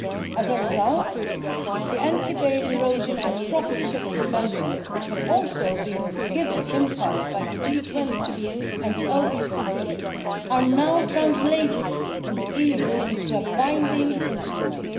As a result, the anti base erosion and profit shifting measures which have also been given an impulse by the G20 and the OECD are now translated in the EU into a binding instrument.